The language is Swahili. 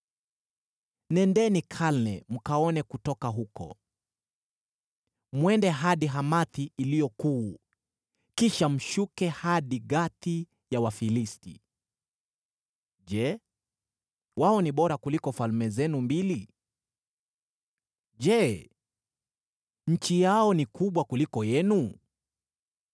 Nendeni Kalne mkaone kutoka huko; mwende hadi Hamathi iliyo kuu, kisha mshuke hadi Gathi ya Wafilisti. Je, wao ni bora kuliko falme zenu mbili? Je, nchi yao ni kubwa kuliko yenu?